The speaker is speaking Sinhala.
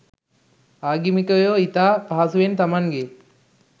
ආගමිකයෝ ඉතා පහසුවෙන් තමන්ගේ